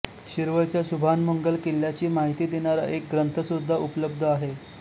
शिरवळच्या शुभानमंगल किल्ल्याची माहिती देणारा एक ग्रंथसुद्धा उपलब्ध आहे